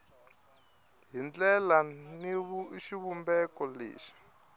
hi ndlela ni xivumbeko lexi